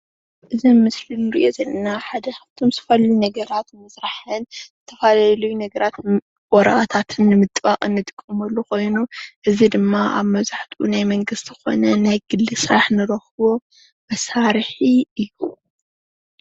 እዚ ኣብ ምስሊ እንሪኦ ዘለና ሓድ ኻፍቶም ዝተፈላለዩ ነገራት ንምስራሕ ዝተፈላለዩ ነገራት ወረቀታትን ንምጥባቅ እንጥቀመሉ ኮይኑ እዚ ድማ ኣብ መብዛሕትኡ ኮነ ናይ ግሊ ስራሕ ንረክቦ መሳርሒ እዩ።